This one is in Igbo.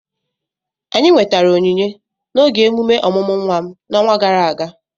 anyị nwetara onyinye n'oge emume ọmụmụ nwa m n'ọnwa gara aga